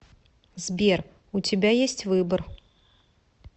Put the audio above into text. сбер у тебя есть выбор